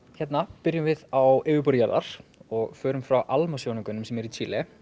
hérna byrjum við á yfirborði jarðar og förum frá Alma sjónaukanum sem er í Chile